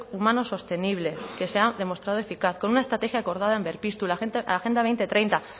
humano sostenible que se ha demostrado eficaz con una estrategia acordada en berpiztu la agenda dos mil treinta